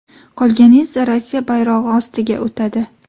Qolgani esa Rossiya bayrog‘i ostiga o‘tadi.